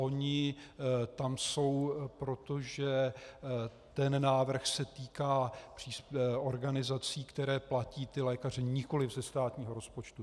Ony tam jsou proto, že ten návrh se týká organizací, které platí lékaře nikoliv ze státního rozpočtu.